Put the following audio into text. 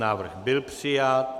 Návrh byl přijat.